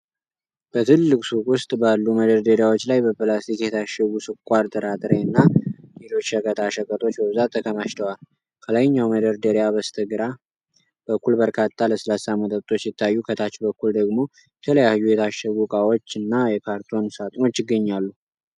በትልቅ ሱቅ ውስጥ ባሉ መደርደሪያዎች ላይ በፕላስቲክ የታሸጉ ስኳር፣ ጥራጥሬ እና ሌሎች ሸቀጣ ሸቀጦች በብዛት ተከማችተዋል። ከላይኛው መደርደሪያ በስተግራ በኩል በርካታ ለስላሳ መጠጦች ሲታዩ፤ ከታች በኩል ደግሞ የተለያዩ የታሸጉ እቃዎች እና የካርቶን ሳጥኖች ይገኛሉ።